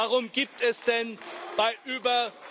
Warum gibt es denn bei über...